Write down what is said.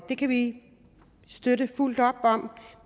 det kan vi støtte fuldt op om